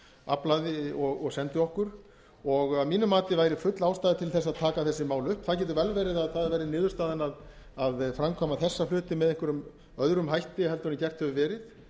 aflaði og sendi okkur aflaði og sendi okkur að mínu mati væri full ástæða til þess að taka þessi mál upp það getur vel verið að það verði niðurstaðan að framkvæma þessa hluti með einhverjum öðrum hætti en gert hefur verið